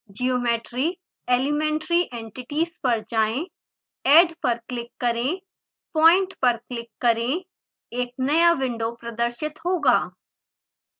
geometry >> elementary entities पर जाएँ add पर क्लिक करें point पर क्लिक करें एक नया विंडो प्रदर्शित होगा